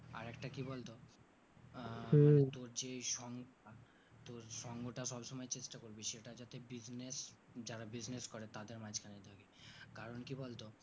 আরেকটা কি বলতো আহ তোর যেই সং আহ তোর সঙ্গটা সব সময় চেষ্টা করবি সেটা যাতে business যারা business করে তাদের মাজখানে থাকা কারণ কি বলতো